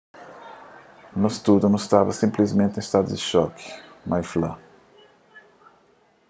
nos tudu nu staba sinplismenti en stadu di xoki mai fla